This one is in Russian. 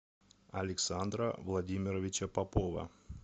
александра владимировича попова